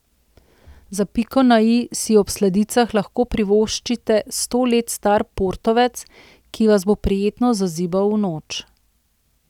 Za piko na i si ob sladicah lahko privoščite sto let star portovec, ki vas bo prijetno zazibal v noč.